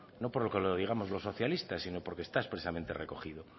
no porque lo digamos los socialistas sino porque está expresamente recogido